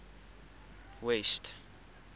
west